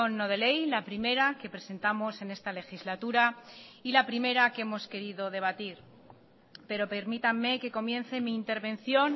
no de ley la primera que presentamos en esta legislatura y la primera que hemos querido debatir pero permítanme que comience mi intervención